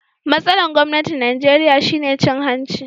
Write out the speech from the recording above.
Matsalan gwamnatin Nijeriya shine cin hanci.